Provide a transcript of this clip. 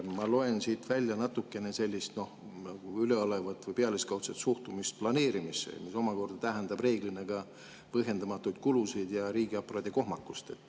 Ma loen siit välja natukene sellist üleolevat või pealiskaudset suhtumist planeerimisse, mis omakorda tähendab reeglina ka põhjendamatuid kulusid ja riigiaparaadi kohmakust.